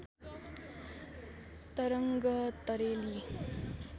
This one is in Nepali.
तरङ्ग तरेली